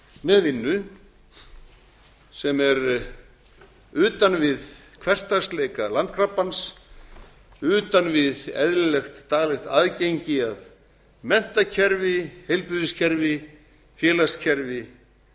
með vinnu sem er utan við hversdagsleika landkrabbans utan við eðlilegt daglegt aðgengi að menntakerfi heilbrigðiskerfi félagskerfi